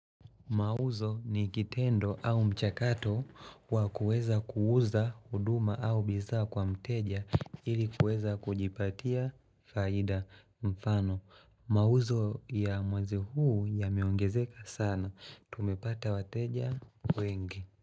Mauzo ni kitendo au mchakato wa kuweza kuuza huduma au bidhaa kwa mteja ili kuweza kujipatia faida mfano. Mauzo ya mwezi huu yameongezeka sana. Tumepata wateja wengi.